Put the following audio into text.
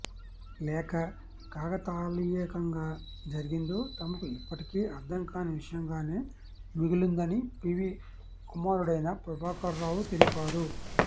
లేక కాకతాళీయంగా జరిగిందో తమకు ఇప్పటికి అర్ధం కాని విషయంగానే మిగిలుందని పివి కుమారుడైన ప్రభాకర్రావు తెలిపారు